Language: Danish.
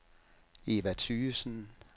Eva Thygesen